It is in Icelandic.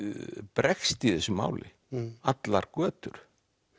bregst í þessu mali allar götur